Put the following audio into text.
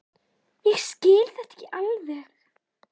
Ég skil þetta ekki alveg.